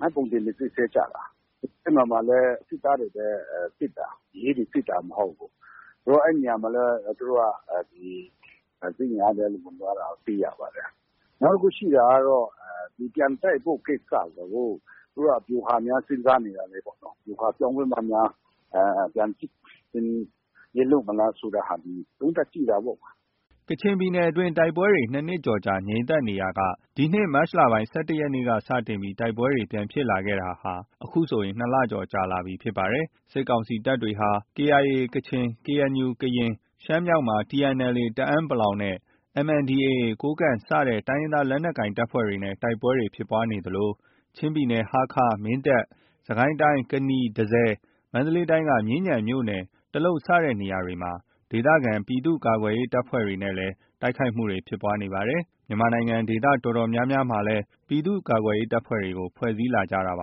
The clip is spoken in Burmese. မှတ်ပုံတင်တွေ စစ်ဆေးကြတာ။ အဲဒီမှာလည်း စစ်သားတွေပဲ စစ်တာ။ ရဲတွေ စစ်တာ မဟုတ်ဘူး။ အဲဒီနေရာမှာလည်း သူတို့က ဒီ စစ်အင်အားတွေ ဝင်သွားတာ တွေ့ရပါတယ်။ နောက် တစ်ခု ရှိတာကတော့ ပြန်တိုက်ဖို့ ကိစ္စကို သူတို့က ဗျူဟာများ စဉ်းစားနေတာလားပေါ့နော်။ ဗျူဟာပြောင်းပြီးမှများ ပြန်စစ်ဆင်ရေး လုပ်မလားဆိုတဲ့ဟာတွေ သုံးသပ်ကြည့်တာပေါ့။” ကချင်ပြည်နယ်အတွင်းမှာ တိုက်ပွဲတွေ ၂ နှစ်ကျော်ကြာ ငြိမ်သက်နေရာက ဒီနှစ် မတ်လ ၁၁ရက်နေ့က စတင်ပြီး တိုက်ပွဲတွေ ပြန်ဖြစ်လာတာဟာ အခုဆို ၂ လကျော်ကြာလာပြီဖြစ်ပါတယ်။ စစ်ကောင်စီတပ်တွေဟာ KIA ကချင်၊ KNU ကရင်၊ ရှမ်းမြောက်မှာ TNLA တအန်း (ပလောင်) နဲ့ MNDAA ကိုးကန့် စတဲ့ တိုင်းရင်းသားလက်နက်ကိုင်အဖွဲ့တွေနဲ့ တိုက်ပွဲတွေ ဖြစ်နေသလို၊ ချင်းပြည်နယ် ဟားခါး၊ မင်းတပ်၊ စစ်ကိုင်းတိုင်း ကနီ၊ တန့်ဆည်၊ မန္တလေးတိုင်းက မြင်းခြံမြို့နယ် တလုပ်စတဲ့နေရာတွေက ဒေသကာကွယ်ရေး ပြည်သူ့ကာကွယ်ရေးအဖွဲ့တွေနဲ့လည်း တိုက်ခိုက်မှုတွေ ဖြစ်နေပါတယ်။ ဒေသတော်တော်များများမှာလည်း ပြည်သူ့ကာကွယ်ရေးတပ်ဖွဲ့တွေကို ဖွဲ့စည်းလာကြပ